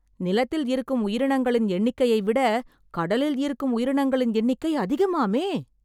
நிலத்தில் இருக்கும் உயிரினங்களின் எண்ணிக்கையை விட கடலில் இருக்கும் உயிரினங்களின் எண்ணிக்கை அதிகமாமே